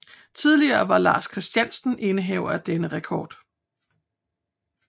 Tidligere var Lars Christiansen indehaver af denne rekord